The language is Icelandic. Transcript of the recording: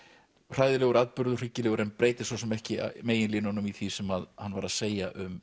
hræðilegur atburður hryggilegur en breytir svo sem ekki megin línunum í því sem hann var að segja um